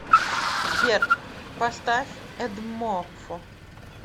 сбер поставь эдмофо